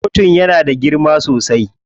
Kotun yana da girma sosai.